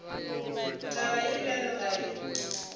taba ye bjalo ga e